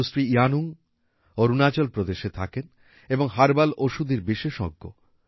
সুশ্রী ইয়ানুং অরুণাচল প্রদেশে থাকেন এবং হার্বাল ঔষুধির বিশেষজ্ঞ